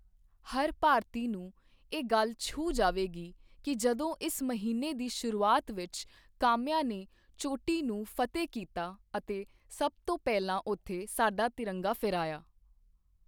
ਹਰ ਭਾਰਤੀ ਨੂੰ ਇਹ ਗੱਲ ਛੂਹ ਜਾਵੇਗੀ ਕਿ ਜਦੋਂ ਇਸ ਮਹੀਨੇ ਦੀ ਸ਼ੁਰੂਆਤ ਵਿੱਚ ਕਾਮਿਆ ਨੇ ਚੋਟੀ ਨੂੰ ਫ਼ਤਿਹ ਕੀਤਾ ਅਤੇ ਸਭ ਤੋਂ ਪਹਿਲਾਂ ਉੱਥੇ ਸਾਡਾ ਤਿਰੰਗਾ ਫਹਿਰਾਇਆ।